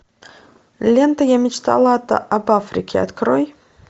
лента я мечтала об африке открой